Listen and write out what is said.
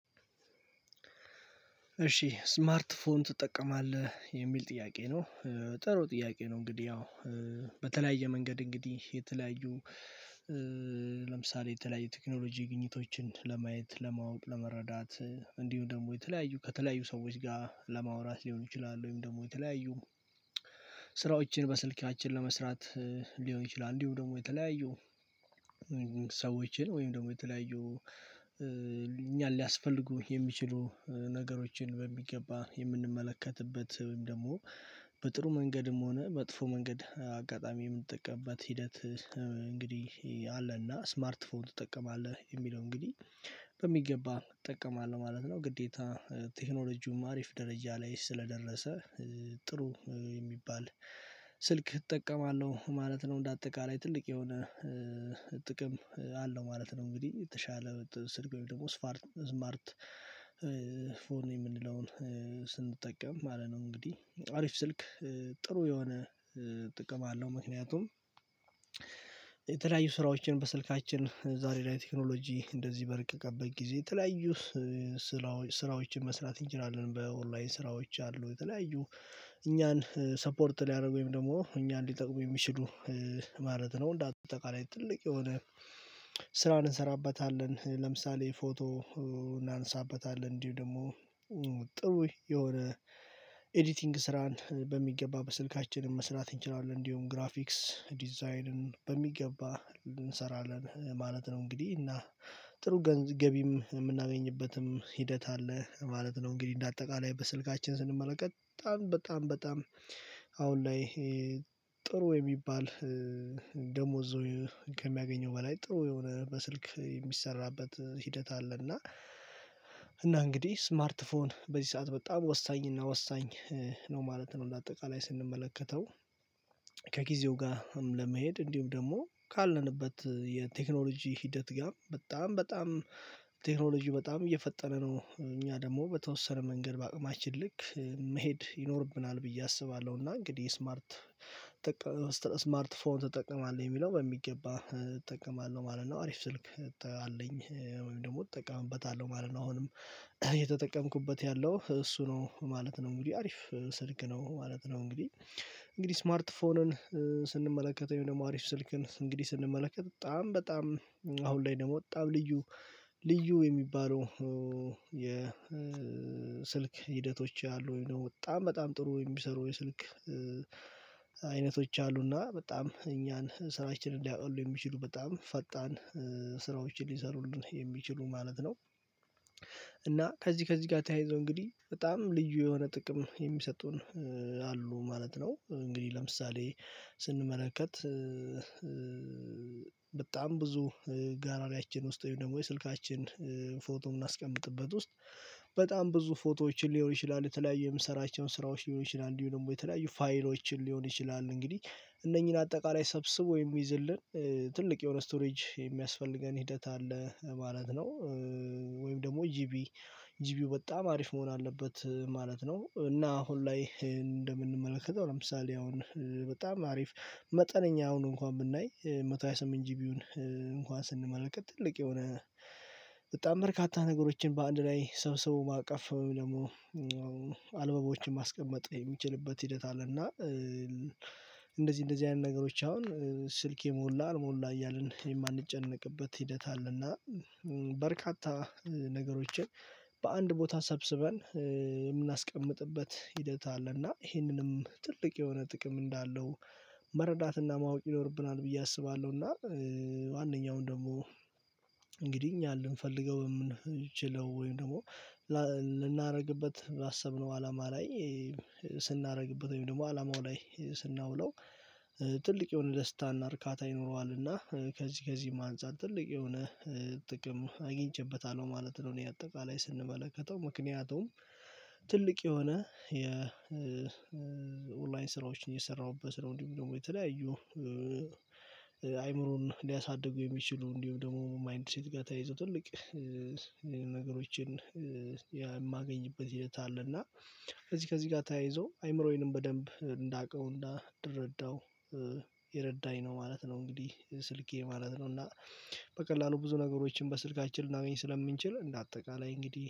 እሺ ስማርት ፎን ትጠቀማለህ የሚል ጥያቄ ነው? ጥሩ ጥያቄ ነው እንግዲህ ያው በተለያየ መንገድ እንግዲህ የተለያዩ ለምሳሌ የተለያየ ቴክኖሎጂ ግኝቶችን ለማየት ለማወቅ ለመረዳት። እንዲሁ ደግሞ የተለያዩ ከተለያዩ ሰዎች ጋር ለማውራት ሊሆኑ ይችላሉ ወይም ደግሞ የተለያዩ ስራዎችን በስልካችን ለመስራት ሊሆን ይችላል። እንዲሁ ደግሞ የተለያዩ ሰዎችን ወይም ደግሞ የተለያዩ እኛን ሊያስፈልጉ የሚችሉ ነገሮችን በሚገባ የምንመለከትበት ወይም ደግሞ በጥሩ መንገድም ሆነ መጥፎ መንገድ አጋጣሚ የምንጠቀምበት ሂደት። እንግዲህ አለና ስማርት ፎን ትጠቀማለህ የሚለው እንግዲህ በሚገባ እጠቀማለሁ ማለት ነው። ግዴታ ቴክኖሎጂውም አሪፍ ደረጃ ላይ ስለደረሰ ጥሩ የሚባል ስልክ እጠቀማለሁ ማለት ነው እንደ አጠቃላይ ትልቅ የሆነ ጥቅም አለው ማለት ነው። እንግዲህ የተሻለ ስልክ ደግሞ ስፓርት ስማርት የምንለውን ስንጠቀም ማለት ነው እንግዲህ አሪፍ ስልክ ጥሩ የሆነ ጥቅም አለው። ምክንያቱም የተለያዩ ስራዎችን በስልካችን ዛሬ ላይ ቴክኖሎጂ እንደዚህ በረቀቀበት ጊዜ የተለያዩ ስራዎችን መስራት እንችላለን በኦንላይን ስራዎች አሉ የተለያዩ እኛን ሰፖርት ሊያደርጉኝ ወይም ደግሞ እኛ ሊጠቁሙ የሚችሉ ማለት ነው። እንደ አጠቃላይ ትልቅ የሆነ ስራን እንሰራበታለን ለምሳሌ ፎቶ እናነሳበታለን እንዲሁ ደግሞ ጥሩ የሆነ ኤዲቲንግ ስራን በሚገባ በስልካችን መስራት እንችላለን እንዲሁም ግራፊክስ ዲዛይንን በሚገባ እንሰራለን ማለት ነው። እንግዲህ እና ጥሩ ገቢም የምናገኝበትም ሂደት አለ ማለት ነው። እንግዲህ እንደ አጠቃላይ በስልካችን ስንመለከት በጣም በጣም አሁን ላይ ጥሩ የሚባል ደሞዝ ከሚያገኘው በላይ ጥሩ የሆነ በስልክ የሚሰራበት ሂደት አለ። እና እና እንግዲህ ስማርት ፎን በዚህ ሰዓት በጣም ወሳኝ እና ወሳኝ ነው ማለት ነው። እንደ አጠቃላይ ስንመለከተው ከጊዜው ጋርም ለመሄድ እንዲሁም ደግሞ ካለንበት የቴክኖሎጂ ሂደት ጋር በጣም በጣም ቴክኖሎጂው በጣም እየፈጠነ ነው እኛ ደግሞ በተወሰነ መንገድ በአቅማችን ልክ መሄድ ይኖርብናል ብዬ አስባለሁ። እና እንግዲህ ስማርት ስማርት ስማርት ፎን ትጠቀማለህ የሚለው በሚገባ እጠቀማለሁ ማለት ነው? አሪፍ ስልክ አለኝ ወይም ደግሞ እጠቀምበታለሁ ማለት ነው አሁንም እተጠቀምኩበት ያለው እሱ ነው ማለት ነው እንግዲህ አሪፍ ስልክ ነው ማለት ነው። እንግዲህ እንግዲህ ስማርት ፎንን ስንመለከተው ይሄ ደግሞ አሪፍ ስልክን እንግዲህ ስንመለከት በጣም በጣም አሁን ላይ ደግሞ በጣም ልዩ ልዩ የሚባለው የስልክ ሂደቶች አሉ ወይ ነው በጣም በጣም ጥሩ የሚሰሩ የስልክ አይነቶች አሉና በጣም እኛን ስራችንን ሊያቀሉ የሚችሉ በጣም ፈጣን ስራዎችን ሊሰሩልን የሚችሉ ማለት ነው። እና ከዚህ ከዚህ ጋር ተያይዞ እንግዲህ በጣም ልዩ የሆነ ጥቅም የሚሰጡን አሉ ማለት ነው። እንግዲህ ለምሳሌ ስንመለከት በጣም ብዙ ጋላሪያችን ውስጥ ወይም ደግሞ የስልካችን ፎቶ የምናስቀምጥበት ውስጥ በጣም ብዙ ፎቶዎችን ሊሆን ይችላል የተለያዩ የምንሰራቸውን ስራዎች ሊሆን ይችላል እንዲሁ ደግሞ የተለያዩ ፋይሎችን ሊሆን ይችላል እንግዲህ እነኚህን አጠቃላይ ሰብስቦ የሚይዝልን ትልቅ የሆነ ስቶሬጅ የሚያስፈልገን ሂደት አለ ማለት ነው። ደግሞ ጂቢ ጂቢው በጣም አሪፍ መሆን አለበት ማለት ነው። እና አሁን ላይ እንደምንመለከተው ለምሳሌ አሁን በጣም አሪፍ መጠነኛ አሁን እንኳን ብናይ መቶ ሃያ ስምንት ጂቢውን እንኳን ስንመለከት ትልቅ የሆነ በጣም በርካታ ነገሮችን በአንድ ላይ ሰብስቦ ማቀፍ ደግሞ አልበሞችን ማስቀመጥ የሚችልበት ሂደት አለና እንደዚህ እንደዚህ አይነት ነገሮች አሁን ስልኬ ሞላ አልሞላ እያልን የማንጨነቅበት ሂደት አለና በርካታ ነገሮችን በአንድ ቦታ ሰብስበን የምናስቀምጥበት ሂደት አለ። እና ይህንንም ትልቅ የሆነ ጥቅም እንዳለው መረዳትና ማወቅ ይኖርብናል ብዬ አስባለሁና። ማንኛውን ደግሞ እንግዲህ እኛን ልንፈልገው የምንችለው ወይም ደግሞ ልናደርግበት ባሰብነው አላማ ላይ ስናደርግበት ወይም ደግሞ አላማው ላይ ስናውለው ትልቅ የሆነ ደስታና እርካታ ይኖረዋልና ከዚህ ከዚህም ማንጻር ትልቅ የሆነ ጥቅም አግኝቼበታለሁ ማለት ነው። እኔ አጠቃላይ ስንመለከተው ምክንያቱም ትልቅ የሆነ የኦንላይን ስራዎችን የሰራሁበት ስለሆነ ደግሞ የተለያዩ አይምሮን ሊያሳድጉ የሚችሉ እንዲሁም ደግሞ ማይንድ ሴት ጋር ተያይዞ ትልቅ ነገሮችን የማገኝበት ሂደት አለና ከዚህ ከዚህ ጋር ተያይዞ አይምሮዬንም በደንብ እንዳውቀው እንድረዳው የረዳኝ ነው ማለት ነው። እንግዲህ ስልኬ ማለት ነው እና በቀላሉ ብዙ ነገሮችን በስልካችን ላይ ስለምንችል እንደ አጠቃላይ እንግዲህ